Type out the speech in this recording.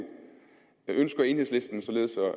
ønsker enhedslisten således